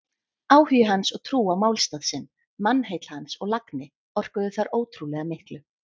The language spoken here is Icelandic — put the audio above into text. Áhugi hans og trú á málstað sinn, mannheill hans og lagni orkuðu þar ótrúlega miklu.